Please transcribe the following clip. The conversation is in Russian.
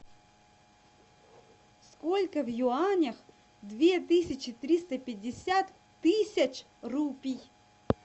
сколько в юанях две тысячи триста пятьдесят тысяч рупий